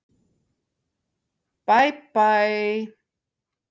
Bæ Bæ.